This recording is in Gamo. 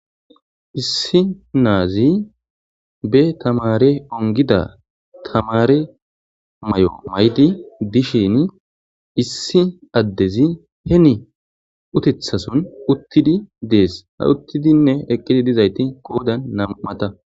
Issi naazi be tamari ongida tamare mayo mayidi dishini issi addezi hemi uttetha son uttidi dees. Uttidinne eqidi dizayti qoodam nam'ata.